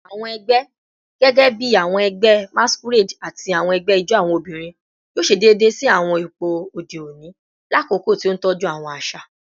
Awọn ẹgbẹ, gẹgẹbi awọn ẹgbẹ masquerade ati awọn ẹgbẹ ijó awọn obinrin, yoo ṣe deede si awọn ipo ode oni lakoko ti o tọju awọn aṣa